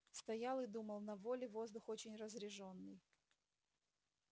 стоял и думал на воле воздух очень разрежённый